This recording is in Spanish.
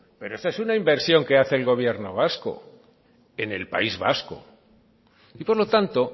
pero esa es una inversión que hace el gobierno vasco en el país vasco y por lo tanto